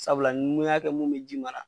Sabula ni ya kɛ mun be ji mara